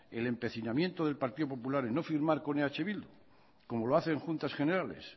el empecinamiento del partido popular en no firmar con eh bildu como lo hace en juntas generales